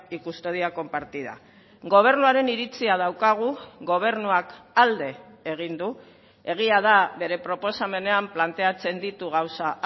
y custodia compartida gobernuaren iritzia daukagu gobernuak alde egin du egia da bere proposamenean planteatzen ditu gauza